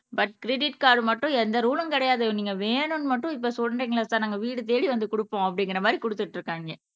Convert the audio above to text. but credit card மட்டும் எந்த ரூலும் கிடையாது நீங்க வேணும்ன்னு மட்டும் இப்ப சொல்றீங்களே சார் நாங்க வீடு தேடி வந்து கொடுப்போம் அப்படிங்கிற மாதிரி கொடுத்துட்டு இருக்காங்க